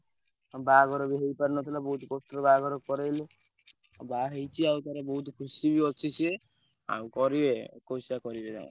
ଆଉ ବାହାଘର ବି ହେଇପାରି ନଥିଲା ବୋହୁତ କଷ୍ଟ ରେ ବାହାଘର କରେଇଲେ ଆଉ ବାହା ହେଇଛଇଷୁ ବୋହୁତ ଖୁସି ବି ଅଛି ସିଏ କରିବେ ଏକୋଇସିଆ କରିବେ ତାଙ୍କର।